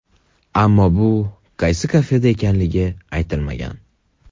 Ammo bu aynan qaysi kafe ekanligi aytilmagan.